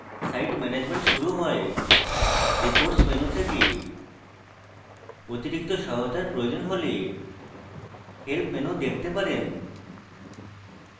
site management শুরু হয় reports menu থেকে অতিরিক্ত সহায়তার প্রয়োজন হলে help menu দেখতে পারেন